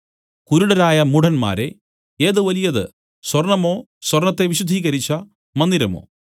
കുരുടരായ മൂഢന്മാരേ ഏത് വലിയത് സ്വർണ്ണമോ സ്വർണ്ണത്തെ വിശുദ്ധീകരിച്ച മന്ദിരമോ